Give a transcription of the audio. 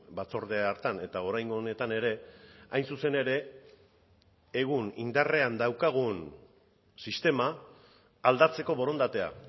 batzorde hartan eta oraingo honetan ere hain zuzen ere egun indarrean daukagun sistema aldatzeko borondatea